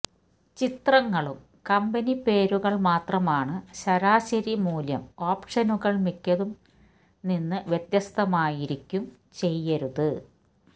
ചിത്രങ്ങളും കമ്പനി പേരുകൾ മാത്രമാണ് ശരാശരി മൂല്യം ഓപ്ഷനുകൾ മിക്കതും നിന്ന് വ്യത്യസ്തമായിരിക്കും ചെയ്യരുത്